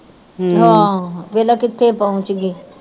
ਹਾਂ ਵੇਖਲਾ ਕਿਥੇ ਪੌਂਚਗੀ